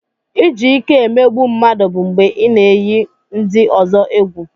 Iji ìké emegbu mmadụ bụ mgbe ị na-éyi ndị ọzọ egwu